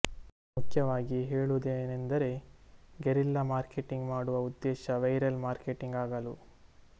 ಮುಖ್ಯವಾಗಿ ಹೇಳುವುದೇನೆಂದರೆ guerrilla marketing ಮಾಡುವ ಉದ್ದೇಶ ವೈರಲ್ ಮಾರ್ಕೆಟಿಂಗ್ ಆಗಲು